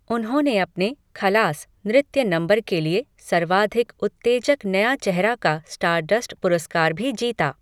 उन्होंने अपने 'खलास' नृत्य नंबर के लिए सर्वाधिक उत्तेजक नया चेहरा का स्टारडस्ट पुरस्कार भी जीता।